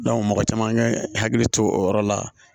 mɔgɔ caman ye hakili to o yɔrɔ la